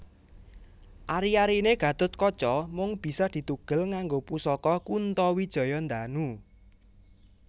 Ari arine Gathutkaca mung bisa ditugel nganggo pusaka Kuntawijayandanu